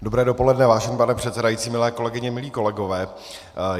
Dobré dopoledne, vážený pane předsedající, milé kolegyně, milí kolegové.